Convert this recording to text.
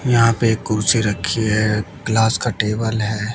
यहां पे कुर्सी रखी है ग्लास का टेबल है।